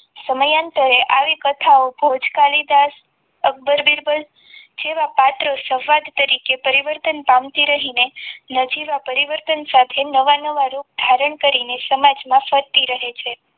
સમાન અંતરે આવી કથાઓ ભુજ કાલિદાસ અકબર બીરબલ જેવા પાત્રો સફળ તરીકે પરિવર્તન પામતી રહીને નજીવા પરિવર્તન સાથે નવા નવા રૂપ ધારણ કરીને સમાજમાં ફરતી રહે છે.